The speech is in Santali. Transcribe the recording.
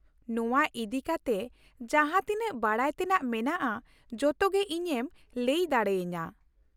ᱱᱚᱶᱟ ᱤᱫᱤ ᱠᱟᱛᱮ ᱡᱟᱦᱟᱸ ᱛᱤᱱᱟᱹᱜ ᱵᱟᱰᱟᱭ ᱛᱮᱱᱟᱜ ᱢᱮᱱᱟᱜᱼᱟ ᱡᱚᱛᱚ ᱜᱮ ᱤᱧᱮᱢ ᱞᱟᱹᱭ ᱫᱟᱲᱮ ᱟᱹᱧᱟᱹ ᱾